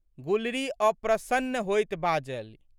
गुलरी अप्रशन्न होइत बाजलि।